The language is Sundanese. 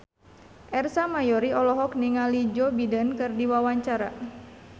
Ersa Mayori olohok ningali Joe Biden keur diwawancara